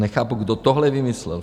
Nechápu, kdo tohle vymyslel?